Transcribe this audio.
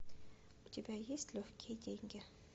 у тебя есть легкие деньги